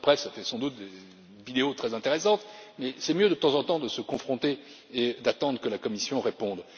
Alors, cela fait sans doute des vidéos très intéressantes, mais c'est mieux de temps en temps de se confronter et d'attendre que la Commission réponde.